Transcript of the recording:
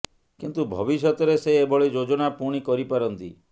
କିନ୍ତୁ ଭବିଷ୍ୟତରେ ସେ ଏଭଳି ଯୋଜନା ପୁଣି କରି ପାରନ୍ତି